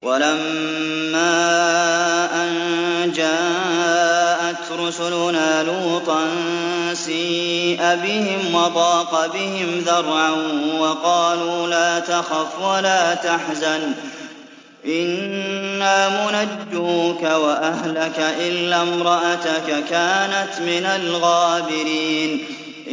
وَلَمَّا أَن جَاءَتْ رُسُلُنَا لُوطًا سِيءَ بِهِمْ وَضَاقَ بِهِمْ ذَرْعًا وَقَالُوا لَا تَخَفْ وَلَا تَحْزَنْ ۖ إِنَّا مُنَجُّوكَ وَأَهْلَكَ إِلَّا امْرَأَتَكَ كَانَتْ مِنَ الْغَابِرِينَ